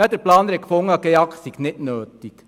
Der Planer habe gefunden, der GEAK sei nicht nötig.